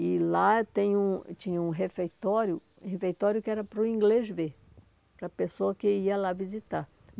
E lá tem um tinha um refeitório, refeitório que era para o inglês ver, para a pessoa que ia lá visitar.